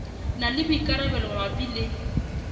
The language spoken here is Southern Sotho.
na le boikarabelo mabapi le